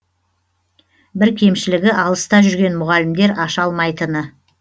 бір кемшілігі алыста жүрген мұғалімдер аша алмайтыны